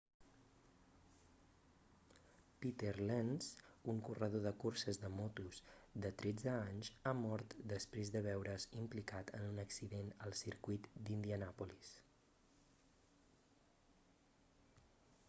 peter lenz un corredor de curses de motos de 13 anys ha mort després de veure's implicat en un accident al circuit d'indianàpolis